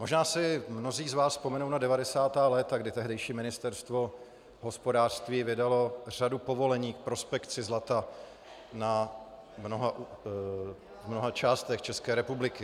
Možná si mnozí z vás vzpomenou na 90. léta, kdy tehdejší ministerstvo hospodářství vydalo řadu povolení k prospekci zlata v mnoha částech České republiky.